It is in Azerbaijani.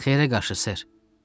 Xeyrə qarşı, ser.